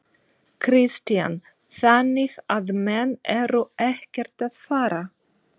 Kristján: Þannig að menn eru ekkert að fara?